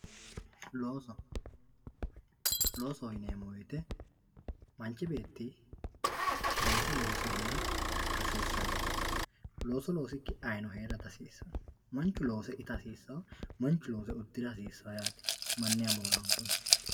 Looso, loosoho yineemo woyite manchi beetti looso looss3 heera hassisanossi, looso loosikki ayyino heerra dihasisano, manchu loose itta hasisawo manchu loose udira hassisawo yaate maniha moora'nkunni